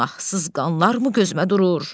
Günahsız qanlarmı gözümə durur?